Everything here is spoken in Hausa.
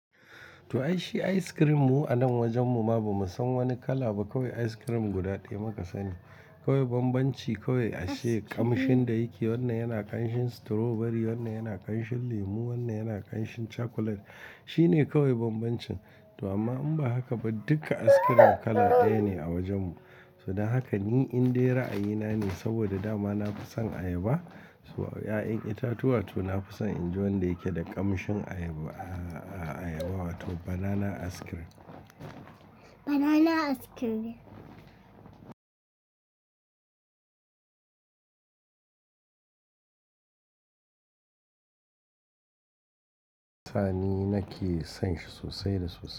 To ai shi ice cream mu a nan wajen mu ma ba mu san wani kala ba kawai ice cream guda ɗaya muka sani. Kawai bambanci kawai ashe kamshin da yake wannan yana kanshin strawberry, wannan yana kanshin lemu, wannan yana kanshin chocolate. Shi ne kawai bambancin to amma in ba haka ba duka ice cream kala ɗaya ne a wajen mu. So dan haka ni in daina ayina ne saboda da ma na fi son ayaba. So ya'yan itatuwa to na fi son in ji wanda yake da kamshin ayaba, ayaba wato banana ice cream. Banana ice cream. Sani na ke sanshi sosai da sosai.